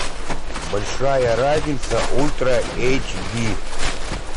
большая разница ультра эйч ди